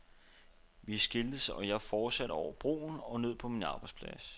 Vi skiltes og jeg fortsætte over broen og ned på min arbejdsplads.